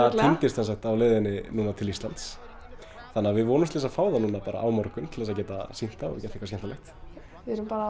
sem sagt á leiðinni til Íslands þannig við vonumst þess að fá það núna á morgun til þess að geta sýnt það og gert eitthvað skemmtilegt við erum bara